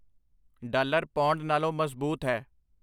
dollar pound ਨਾਲੋਂ ਮਜ਼ਬੂਤ ਹੈ